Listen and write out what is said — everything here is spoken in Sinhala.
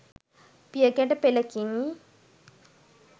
පියගැට පෙළකිනි.